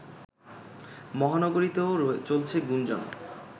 মহানগরীতেও চলছে গুঞ্জন